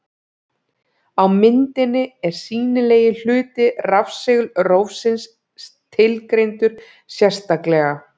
Á myndinni er sýnilegi hluti rafsegulrófsins tilgreindur sérstaklega.